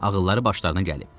Ağılları başlarına gəlib.